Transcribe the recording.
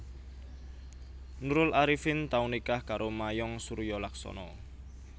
Nurul Arifin tau nikah karo Mayong Suryolaksono